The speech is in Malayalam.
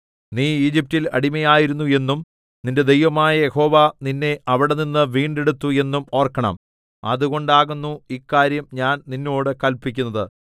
നീ ഈജിപ്റ്റിൽ അടിമയായിരുന്നു എന്നും നിന്റെ ദൈവമായ യഹോവ നിന്നെ അവിടെനിന്നു വീണ്ടെടുത്തു എന്നും ഓർക്കണം അതുകൊണ്ടാകുന്നു ഇക്കാര്യം ഞാൻ നിന്നോട് കല്പിക്കുന്നത്